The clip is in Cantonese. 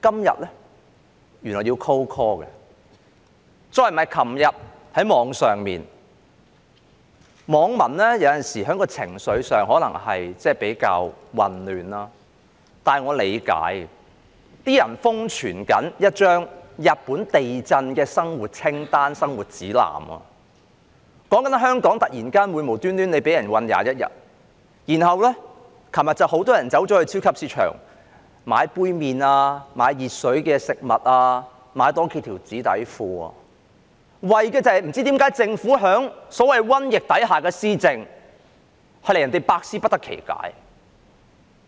又例如，昨天在互聯網上——有時候網民的情緒可能比較混亂，但我理解——有些人瘋傳一張日本地震的生活用品清單、生活指南，說的是在香港有人會突然間無故被囚禁21日，隨後有很多人到超級市場購買杯麵、買以熱水沖泡的食物、多買數條紙內褲，就是因為政府在所謂瘟疫下的施政，令人百思不得其解。